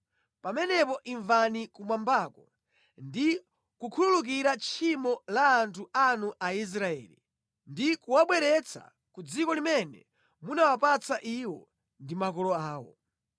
pamenepo imvani kumwambako ndi kukhululukira tchimo la anthu anu Aisraeli ndi kuwabweretsa ku dziko limene munawapatsa iwo ndi makolo awo.